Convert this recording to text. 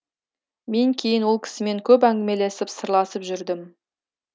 мен кейін ол кісімен көп әңгімелесіп сырласып жүрдім